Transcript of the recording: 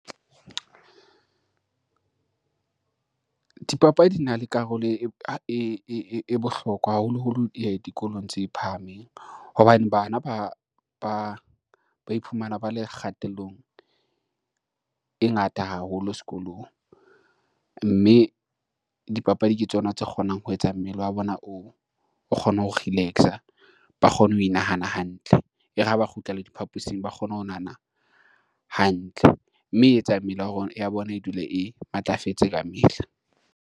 Dipapadi di na le karolo e bohlokwa haholoholo dikolong tse phahameng, hobane bana ba iphumana ba le kgatellong, e ngata haholo sekolong, mme dipapadi ke tsona tse kgonang ho etsa mmele wa bona o kgone ho relax-a, ba kgone ho nahana hantle e re ha ba kgutlela diphaposing ba kgone ho nahana, hantle mme e etsa mmele ya bona e dule e matlafetse ka mehla.